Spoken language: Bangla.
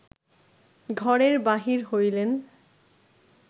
ঘরের বাহির হইলেন